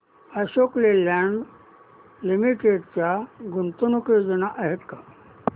Ashok Leyland limited च्या गुंतवणूक योजना आहेत का